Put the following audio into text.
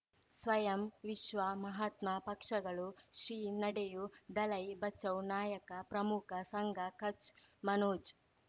ಸ್ವಯಂ ವಿಶ್ವ ಮಹಾತ್ಮ ಪಕ್ಷಗಳು ಶ್ರೀ ನಡೆಯೂ ದಲೈ ಬಚೌ ನಾಯಕ ಪ್ರಮುಖ ಸಂಘ ಕಚ್ ಮನೋಜ್